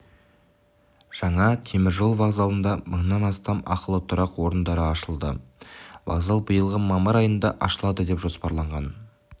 жаңа теміржол вокзалында мыңнан астам ақылы тұрақ орындары ашылады вокзал биылғы мамыр айында ашылады деп жоспарланған